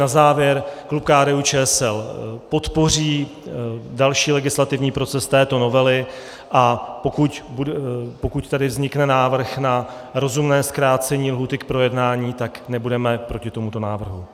Na závěr - klub KDU-ČSL podpoří další legislativní proces této novely, a pokud tady vznikne návrh na rozumné zkrácení lhůty k projednání, tak nebudeme proti tomuto návrhu.